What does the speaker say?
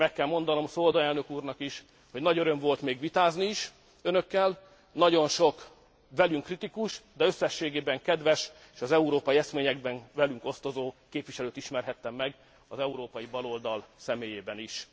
Meg kell mondanom Swoboda elnök úrnak is, hogy nagy öröm volt még vitázni is önökkel, nagyon sok velünk kritikus, de összességében kedves és az európai eszményekben velünk osztozó képviselőt ismerhettem meg az európai baloldal soraiból is.